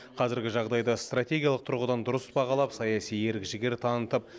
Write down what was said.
қазіргі жағдайды стратегиялық тұрғыдан дұрыс бағалап саяси ерік жігер танытып